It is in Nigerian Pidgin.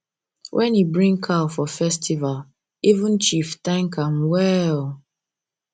when he bring cow for festival for festival even chief thank am well